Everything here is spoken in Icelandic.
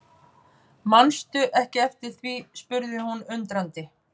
Mannstu ekki eftir því spurði hún undrandi.